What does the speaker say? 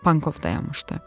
Bankov dayanmışdı.